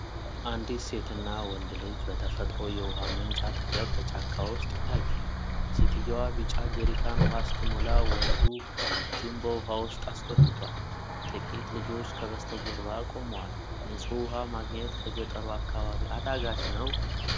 አንዲት ሴትና ወንድ ልጅ በተፈጥሮ የውሃ ምንጭ አጠገብ በጫካ ውስጥ ይታያሉ። ሴትየዋ ቢጫ ጀሪካን ውሃ ስትሞላ ወንዱ እጁን በውሃው ውስጥ አስገብቷል። ጥቂት ልጆች ከበስተጀርባ ቆመዋል። ንፁህ ውሃ ማግኘት በገጠሩ አካባቢ አዳጋች ነው?